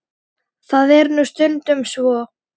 Það er nú stundum svo.